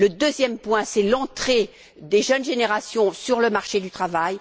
Le troisième point, c'est l'entrée des jeunes générations sur le marché du travail.